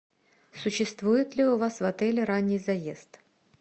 существует ли у вас в отеле ранний заезд